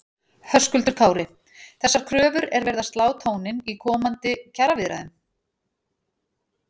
Höskuldur Kári: Þessar kröfur er verið að slá tóninn í komandi kjaraviðræðum?